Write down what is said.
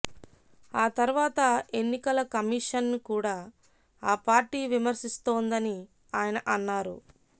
ఆ తర్వాత ఎన్నికల కమిషన్ను కూడా ఆ పార్టీ విమర్శిస్తోందని ఆయన అన్నారు